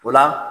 O la